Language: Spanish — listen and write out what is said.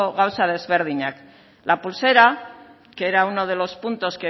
gauza desberdinak la pulsera que era uno de los puntos